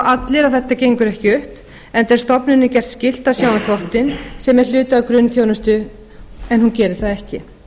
allir að þetta gengur ekki upp enda er stofnuninni gert skylt að sjá um þvottinn sem er hluti af grunnþjónustu en hún gerir það ekki